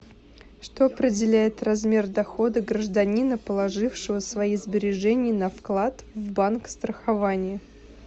что определяет размер дохода гражданина положившего свои сбережения на вклад в банк страхование